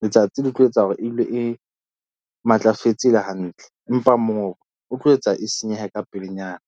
Letsatsi le tlo etsa hore e dule e matlafetse e le hantle empa mongobo o tlo etsa e senyehe ka pelenyana.